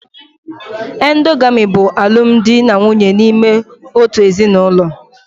Endogamy bụ alụmdi na nwunye n'ime otu ezinụlọ